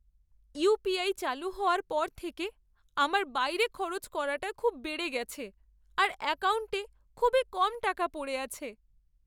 UPI চালু হওয়ার পর থেকে আমার বাইরে খরচ করাটা খুব বেড়ে গেছে আর অ্যাকাউন্টে খুবই কম টাকা পড়ে আছে।